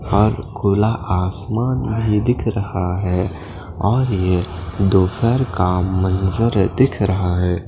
और गोला आसमान भी दिख रहा है और यह दोपहर का मंजर है दिख रहा है।